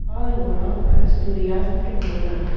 और वहाँ पर सूर्यास्त्र हो रहा हैं।